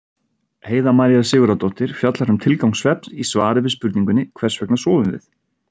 Heiða María Sigurðardóttir fjallar um tilgang svefns í svari við spurningunni Hvers vegna sofum við?